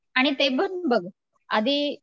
आणि ते पण बघ आधी